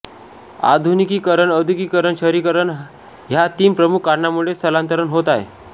आधुनिकीकरण औद्योगिकरण शहरीकरण हय़ा तीन प्रमुख कारणांमुळे स्थलांतरण होत आहे